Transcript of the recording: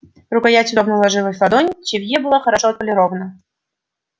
рукоять удобно ложилась в ладонь цевье было хорошо отполировано